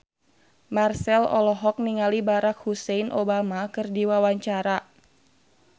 Marchell olohok ningali Barack Hussein Obama keur diwawancara